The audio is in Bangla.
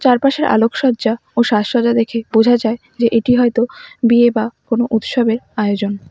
চারপাশের আলোকসজ্জা ও সাজসজ্জা দেখে বোঝা যায় যে এটি হয়তো বিয়ে বা কোনো উৎসবের আয়োজন।